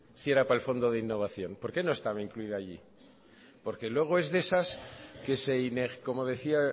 si era para el fondo de innovación por qué no estaba incluida allí porque luego es de esas que se como decía